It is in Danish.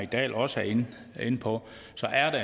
dahl også var inde på så er det